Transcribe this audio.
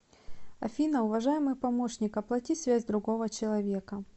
афина уважаемый помощник оплати связь другого человека